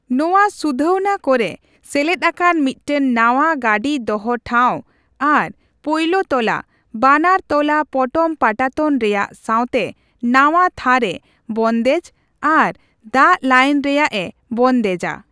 ᱱᱚᱣᱟ ᱥᱩᱫᱷᱟᱹᱣᱱᱟ ᱠᱚᱨᱮ ᱥᱮᱞᱮᱫ ᱟᱠᱟᱱ ᱢᱤᱫᱴᱟᱝ ᱱᱟᱣᱟ ᱜᱟᱺᱰᱤ ᱫᱚᱦᱚ ᱴᱷᱟᱣ ᱟᱨ ᱯᱳᱭᱞᱳ ᱛᱚᱞᱟ, ᱵᱟᱱᱟᱨ ᱛᱚᱞᱟ ᱯᱚᱴᱚᱢ ᱯᱟᱴᱟᱛᱚᱱ ᱨᱮᱭᱟᱜ ᱥᱟᱣᱛᱮ ᱱᱟᱣᱟ ᱛᱷᱟᱨ ᱮ ᱵᱚᱱᱫᱮᱡ ᱟᱨ ᱫᱟᱜ ᱞᱟᱹᱭᱤᱱ ᱨᱮᱭᱟᱜ ᱮ ᱵᱚᱱᱫᱮᱡᱟ ᱾